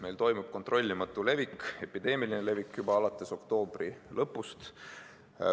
Meil toimub kontrollimatu levik, epideemiline levik juba alates oktoobri lõpust.